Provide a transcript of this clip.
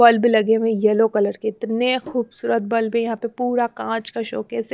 Bulb लगे हुए हैं येलो कलर के इतने खूबसूरत बल्ब है यहां पे पूरा कांच का शोक है।